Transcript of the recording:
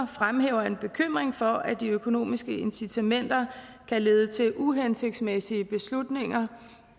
fremhæver en bekymring for at de økonomiske incitamenter kan lede til uhensigtsmæssige beslutninger